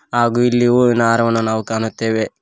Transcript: ಹಾಗು ಇಲ್ಲಿ ಹೂವಿನ ಹಾರವನ್ನು ನಾವು ಕಾಣುತ್ತೇವೆ.